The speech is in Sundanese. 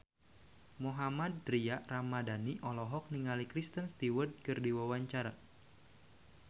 Mohammad Tria Ramadhani olohok ningali Kristen Stewart keur diwawancara